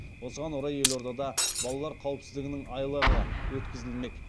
осыған орай елордада балалар қауіпсіздігінің айлығы өткізілмек